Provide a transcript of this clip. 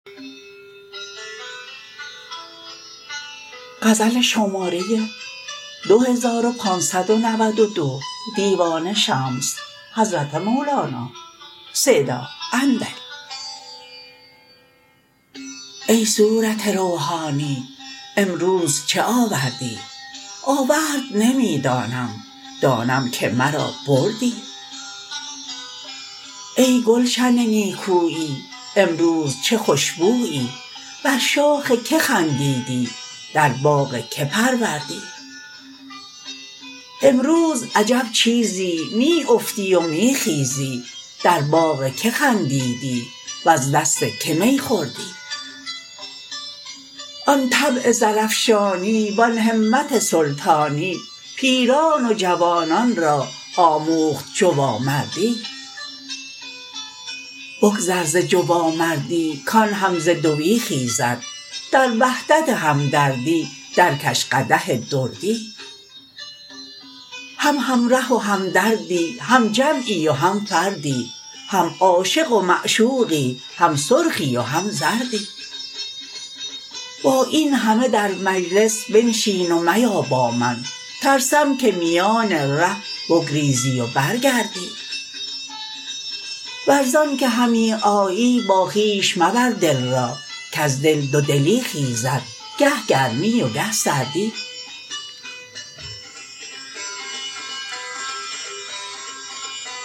ای صورت روحانی امروز چه آوردی آورد نمی دانم دانم که مرا بردی ای گلشن نیکویی امروز چه خوش بویی بر شاخ کی خندیدی در باغ کی پروردی امروز عجب چیزی می افتی و می خیزی در باغ کی خندیدی وز دست کی می خوردی آن طبع زرافشانی و آن همت سلطانی پیران و جوانان را آموخت جوامردی بگذر ز جوامردی کان هم ز دوی خیزد در وحدت همدردی درکش قدح دردی هم همره و همدردی هم جمعی و هم فردی هم عاشق و معشوقی هم سرخی و هم زردی با این همه در مجلس بنشین و میا با من ترسم که میان ره بگریزی و برگردی ور ز آنک همی آیی با خویش مبر دل را کز دل دودلی خیزد گه گرمی و گه سردی